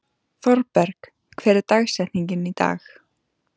Thorberg, hver er dagsetningin í dag?